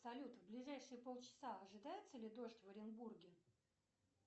салют в ближайшие полчаса ожидается ли дождь в оренбурге